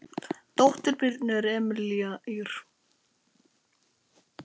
Dóttir Birnu er Emelía Ýr.